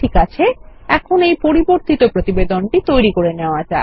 ঠিক আছে এখনএই পরিবর্তিত প্রতিবেদনটি তৈরী করাযাক